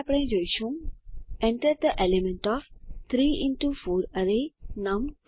પછી આપણે જોશું enter the elements of 3 into 4 array નમ2